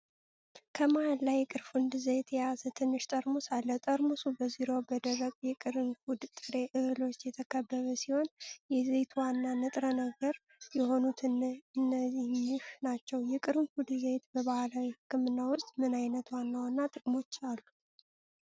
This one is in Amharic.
ከመሃል ላይ የቅርንፉድ ዘይት የያዘ ትንሽ ጠርሙስ አለ። ጠርሙሱ በዙሪያው በደረቅ የቅርንፉድ ጥሬ እህሎች የተከበበ ሲሆን የዘይቱ ዋና ንጥረ ነገር የሆኑት እነኚህ ናቸው። የቅርንፉድ ዘይት በባህላዊ ሕክምና ውስጥ ምን ዓይነት ዋና ዋና ጥቅሞች አሉት?